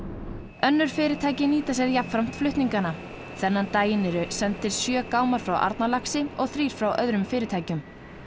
önnur fyrirtæki nýta sér jafnframt flutningana þennan daginn eru sendir sjö gámar frá Arnarlaxi og þrír frá öðrum fyrirtækjum